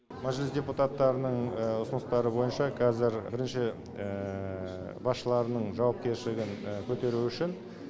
мәжіліс депутаттарының ұсыныстары бойынша қазір бірінші басшыларының жауапкершілігін көтеру үшін